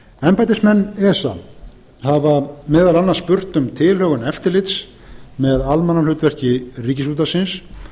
embættismenn esa hafa meðal annars spurt um tilhögun eftirlits með almannahlutverki ríkisútvarpsins